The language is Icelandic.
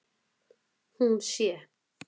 Hún sé